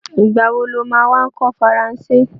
Ìgbà wo lo má wá kọ́ Faransé?